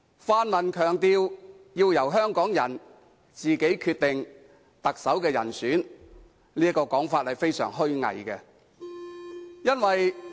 泛民強調要由香港人自己決定特首人選，這種說法是極為虛偽的。